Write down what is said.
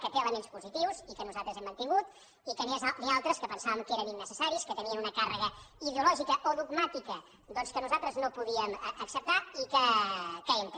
que té elements positius i que nosaltres hem mantingut i que n’hi altres que pensàvem que eren innecessaris que tenien una càrrega ideològica o dogmàtica doncs que nosaltres no podíem acceptar i que hem tret